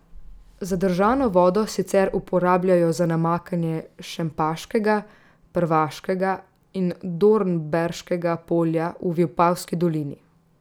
Zadržano vodo sicer uporabljajo za namakanje Šempaškega, Prvaškega in Dornberškega polja v Vipavski dolini.